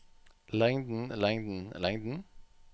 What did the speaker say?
lengden lengden lengden